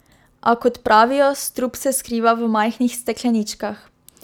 A, kot pravijo, strup se skriva v majhnih stekleničkah.